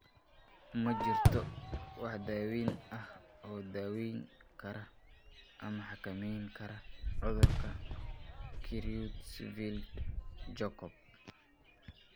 Ma jirto wax daawayn ah oo daweyn kara ama xakamayn kara cudurka Creutzfeldt Jakob (CJD).